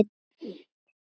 Þannig leið langur tími.